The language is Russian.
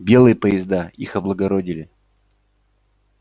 белые поезда их облагородили